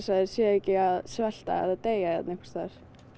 séu ekki að svelta eða deyja hérna einhvers staðar